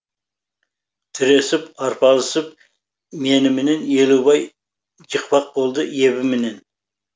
тіресіп арпалысып меніменен елубай жықпақ болды ебіменен